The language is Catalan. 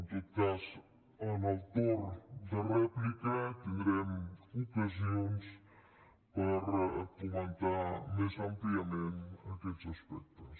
en tot cas en el torn de rèplica tindrem ocasions per comentar més àmpliament aquests aspectes